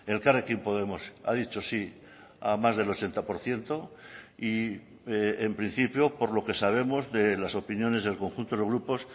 elkarrekin podemos ha dicho sí a más del ochenta por ciento y en principio por lo que sabemos de las opiniones del conjunto de los grupos